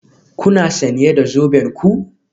Kuna sanye da zoben ku?